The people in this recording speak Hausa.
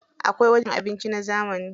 Akwai wajen cin abinci na zamani.